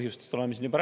Lugupeetud minister!